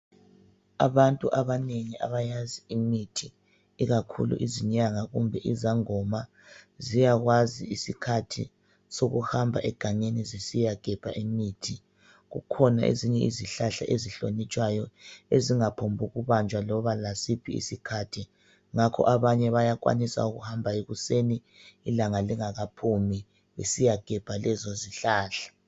Abantu abanengi abayazi imithi ikakhulu izinyanga kumbe izangoma, ziyakwazi isikhathi sokuhamba egangeni zisiyagebha imithi. Kukhona ezinye izihlahla ezihlonitshwayo ezingaphongukubanjwa loba lasiphi isikhathi. Ngako abanye bayakwanisa ukuhamba ekuseni ilanga lingakaphumi besiyagebha lezo izihlahla.